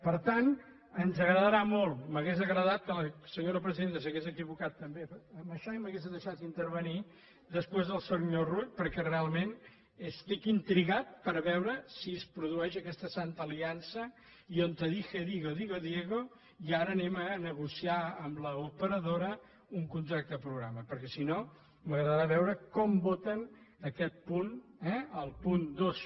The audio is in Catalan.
per tant ens agradarà molt m’hauria agradat que la senyora presidenta s’hagués equivocat també en això i m’hagués deixat intervenir després del senyor rull perquè realment estic intrigat per veure si es produeix aquesta santa aliança i donde dije digo digo diegoi ara anem a negociar amb l’operadora un contracte programa perquè si no m’agradarà veure com voten aquest punt eh el punt dos